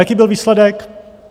Jaký byl výsledek?